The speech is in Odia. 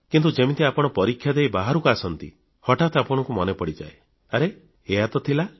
କିନ୍ତୁ ଯେମିତି ଆପଣ ପରୀକ୍ଷା ଦେଇ ବାହାରକୁ ଆସନ୍ତି ହଠାତ୍ ଆପଣଙ୍କୁ ମନେପଡ଼ିଯାଏ ଆରେ ଏହାହିଁ ତ ଥିଲା